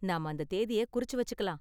நாம அந்த தேதிய குறிச்சு வச்சுக்கலாம்.